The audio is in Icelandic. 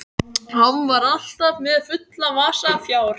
Hann var alltaf með fulla vasa fjár.